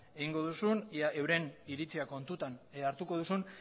egingo duzun ea euren iritzia kontutan hartuko duzun